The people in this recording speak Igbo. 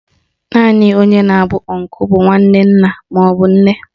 Naanị onye na-abụ ọnkụ bụ nwanne nna maọbụ nne